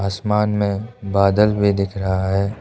आसमान में बादल भी दिख रहा है।